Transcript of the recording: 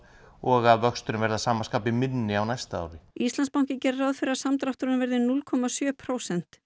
og vöxturinn verði að sama skapi minni á næsta ári Íslandsbanki gerir ráð fyrir að samdrátturinn verði núll komma sjö prósent